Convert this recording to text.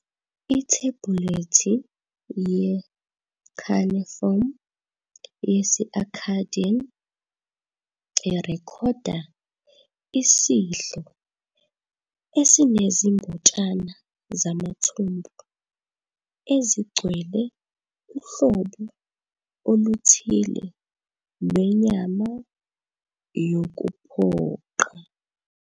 Ithebhulethi ye-cuneiform yesi-Akkadian irekhoda isidlo esinezimbotshana zamathumbu ezigcwele uhlobo oluthile lwenyama yokuphoqa.